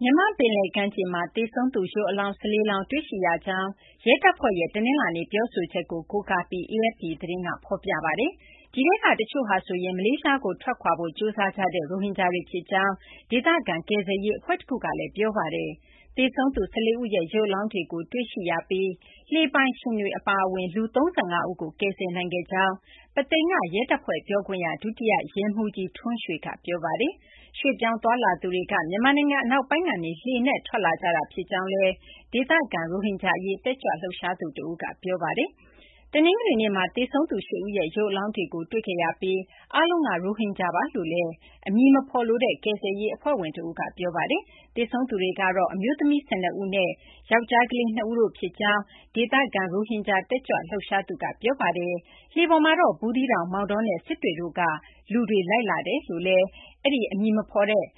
မြန်မာ့ ပင်လယ်ကမ်းခြေမှာ သေဆုံးသူ ရုပ်အလောင်း ၁၄ လောင်း တွေ့ရှိရကြောင်း ရဲတပ်ဖွဲ့ရဲ့တနလာင်္နေ့ ပြောဆိုချက်ကို ကိုးကားပြီး AFP သတင်းက ဖော်ပြပါတယ်။ ဒီထဲက တချို့ဟာဆိုရင် မလေးရှားကို ထွက်ခွာဖို့ ကြိုးစားကြတဲ့ ရိုဟင်ဂျာတွေ ဖြစ်ကြောင် ဒေသခံ ကယ်ဆယ်ရေး အဖွဲ့တခုကလည်း ပြောဆိုထားပါတယ်။ သေဆုံးသူ ၁၄ ဦးရဲ့ ရုပ်အလောင်းတွေကို တွေ့ရှိရပြီး လှေပိုင်ရှင်တွေ အပါအဝင် လူ ၃၅ ဦးကိုတော့ ကယ်ဆယ်နိုင်ခဲ့ကြောင်း ပုသိမ်က ရဲတပ်ဖွဲ့ ပြောခွင့်ရ ဒုတိယ ရဲမှူးကြီး ထွန်းရွှေက ပြောပါတယ်။ ရွှေ့ပြောင်းသွားလာသူတွေက မြန်မာနိုင်ငံ အနောက်ပိုင်းကနေ လှေနဲ့ ထွက်လာကြတာဖြစ်ကြောင်းလည်း ဒေသခံ ရိုဟင်ဂျာ အရေး တက်ကြွလှုပ်ရှားသူ တဦးက ပြောပါတယ်။ တနင်္ဂနွေနေ့မှာ သေဆုံးသူ ၈ ဦးရဲ့ ရုပ်အလောင်းတွေကို တွေ့ခဲ့ရပြီး အားလုံးက ရိုဟင်ဂျာတွေ ဖြစ်ကြောင်း အမည်မဖော်လိုတဲ့ ကယ်ဆယ်ရေး အဖွဲ့ဝင် တဦးကလည်း ပြောပါတယ်။ သေဆုံးသူတွေကတော့ အမျိုးသမီး ၁၂ ဦးနဲ့ ယောက်ျားကလေး ၂ ဦးတို့ ဖြစ်ကြောင်းလည်း ဒေသခံ ရိုဟင်ဂျာ တက်ကြွလှုပ်ရှားသူက ပြောပါတယ်။ လှေပေါ်မှာ တော့ ဘူးသီးတောင်၊ မောင်တောနဲ့ စစ်တွေတို့က လူတွေ လိုက်ပါလာကြောင်းလည်း အမည် မဖော်လိုတဲ့